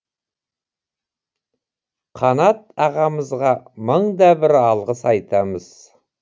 қанат ағамызға мыңда бір алғыс айтамыз